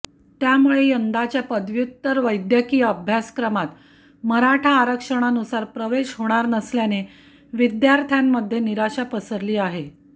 त्यामुळे यंदाच्या पदव्युत्तर वैद्यकीय अभ्यासक्रमात मराठा आरक्षणानुसार प्रवेश होणार नसल्याने विद्यार्थ्यांमध्ये निराशा पसरली आहे